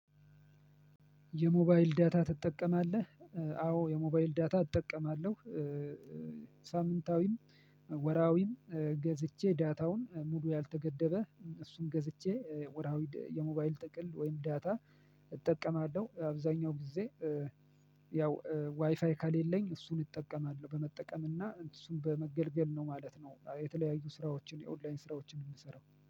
የሞባይል ዳታ ትጠቀማለህ? አዎ የሞባይል ዳታ እጠቀማለሁ። ሳምንታዊም፣ ወርሃዊ ገዝቼ ዳታውን ሙሉ ያልተገደበ እሱን ገዝቼ ወርሃዊ የሞባይል ጥቅል ወይም ዳታ እጠቀማለሁ። አብዛኛው ጊዜ ያው ዋይፋይ ካሌለኝ እሱን እጠቀማለሁ። በመጠቀም እና እሱን በመገልገል ነው ማለት ነው የተለያዩ ስራዎችን የኦንላይን ስራዎችን የምሰራው።